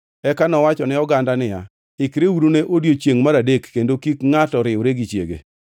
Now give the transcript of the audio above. Eka nowacho ne oganda niya, “Ikreuru ne odiechiengʼ mar adek kendo kik ngʼato riwre gi chiege.”